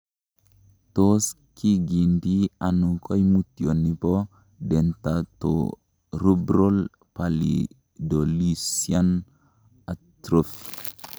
Tos kigindie ono koimutioni bo dentatorubral pallidoluysian atrophy ?